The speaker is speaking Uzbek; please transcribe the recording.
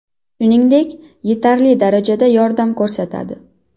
Shuningdek, yetarli darajada yordam ko‘rsatadi.